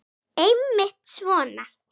Einmitt svona.